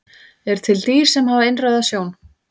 Eru til dýr sem hafa innrauða sjón?